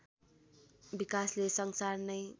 विकासले संसार नै